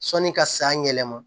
Sɔnni ka san yɛlɛma